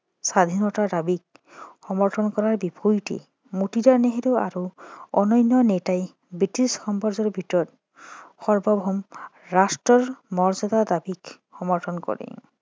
স্বাধীনতাৰ দাবীক সমৰ্থন কৰাৰ বিপৰীতে মতিলাল নেহেৰু আৰু অন্যান্য নেতাই বৃটিছ সাম্ৰাজ্যৰ ভিতৰত সাৰ্বভৌম ৰাষ্ট্ৰৰ মৰ্য্যদা দাবীক সমৰ্থন কৰে